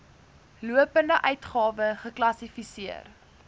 lopende uitgawe geklassifiseer